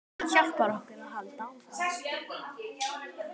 Hjálpar okkur að halda áfram.